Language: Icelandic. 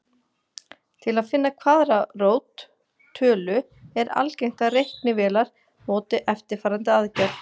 Til að finna kvaðratrót tölu er algengt að reiknivélar noti eftirfarandi aðferð.